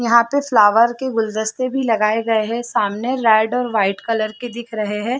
यहाँ पे फ्लावर के गुलदस्ते भी लगाए लगे हैं सामने रेड और वाइट कलर के दिख रहै हैं।